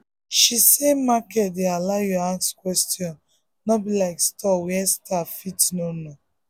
she say market dey allow you ask question no be like store where staff fit no know.